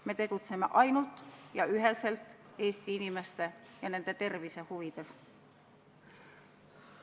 Me tegutseme ainult ja üheselt Eesti inimeste ja nende tervise huvides.